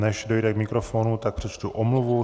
Než dojde k mikrofonu, tak přečtu omluvu.